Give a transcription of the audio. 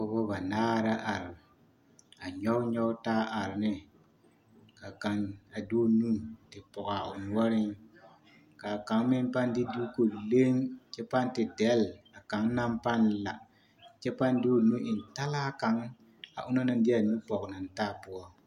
Pɔgebɔ banaare la are a nyɔge nyɔge taa are ne ka kaŋ a de o nu te pɔge a o noɔreŋ ka kaŋ meŋ pãã de duuku leŋ kyɛ pãã te dɛle ka kaŋ naŋ pãã la kyɛ pãã de o nu eŋ talaa kaŋ a onaŋ de a nu pɔge na naŋ poɔ.